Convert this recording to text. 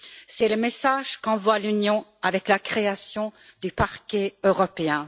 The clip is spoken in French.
C'est le message qu'envoie l'Union avec la création du parquet européen.